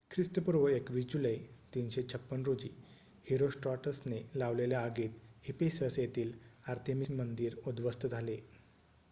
ख्रिस्तपूर्व २१ जुलै ३५६ रोजी हिरोस्ट्राटसने लावलेल्या आगीत इफेसस येथील आर्थेमिस मंदिर उध्वस्त झाले